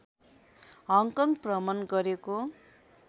Hong Kong भ्रमण गरेको